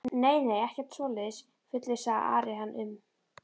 Nei, nei, ekkert svoleiðis fullvissaði Ari hann um.